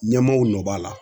Ɲɛmaaw nɔ b'a la